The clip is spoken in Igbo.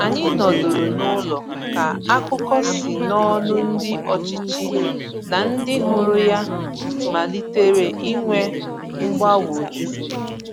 Anyị nọdụrụ n’ụlọ ka akụkọ si n’ọnụ ndị ọchịchị na ndị hụrụ ya malitere inwe mgbagwoju.